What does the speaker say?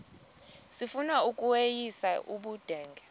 sifuna ukweyis ubudenge